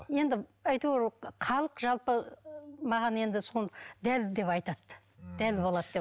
енді әйтеуір халық жалпы маған енді соны дәл деп айтады дәл болады деп